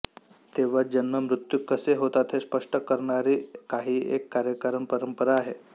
तेव्हा जन्ममृत्यू कसे होतात हे स्पष्ट करणारी काहीएक कार्यकारणपरंपरा आहे